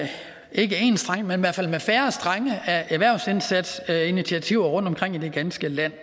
ikke enstrenget men i hvert fald med færre strenge erhvervsindsatsinitiativer rundtomkring i det ganske land